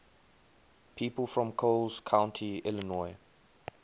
people from coles county illinois